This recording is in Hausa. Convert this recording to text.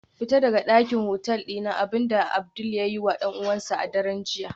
Fita daga dakin hotel dina, abinda Abdul ya yiwa dan uwansa a daren jiya